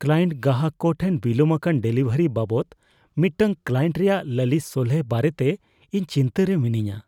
Client ᱜᱟᱦᱟᱠ ᱠᱚ ᱴᱷᱮᱱ ᱵᱤᱞᱚᱢ ᱟᱠᱟᱱ ᱰᱮᱞᱤᱵᱷᱟᱨᱤ ᱵᱟᱵᱟᱚᱫᱽ ᱢᱤᱫᱴᱟᱝ ᱠᱞᱟᱭᱮᱱᱴ ᱨᱮᱭᱟᱜ ᱞᱟᱞᱤᱥ ᱥᱚᱞᱦᱮ ᱵᱟᱨᱮᱛᱮ ᱤᱧ ᱪᱤᱱᱛᱟᱹ ᱨᱮ ᱢᱤᱱᱟᱹᱧᱼᱟ ᱾